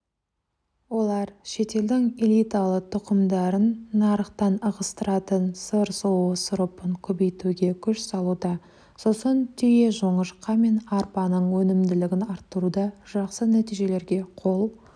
олар шетелдің элиталы тұқымдарын нарықтан ығыстыратын сыр сұлуы сұрыпын көбейтуге күш салуда сосын түйежоңышқа мен арпаның өнімділігін арттыруда жақсы нәтижелерге қол